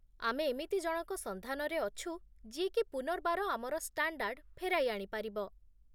ଆମେ ଏମିତି ଜଣଙ୍କ ସନ୍ଧାନରେ ଅଛୁ ଯିଏକି ପୁନର୍ବାର ଆମର ଷ୍ଟାଣ୍ଡାର୍ଡ ଫେରାଇ ଆଣିପାରିବ